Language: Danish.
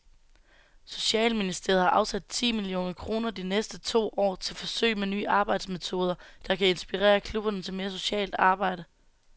Socialministeriet har afsat ti millioner kroner de næste to år til forsøg med nye arbejdsmetoder, der kan inspirere klubberne til mere socialt arbejde.